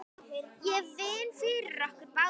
Ég vinn fyrir okkur báðum.